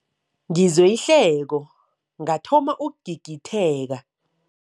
Ngizwe ihleko ngathoma ukugigitheka.